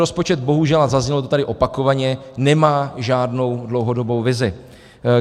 Rozpočet bohužel, a zaznělo to tady opakovaně, nemá žádnou dlouhodobou vizi.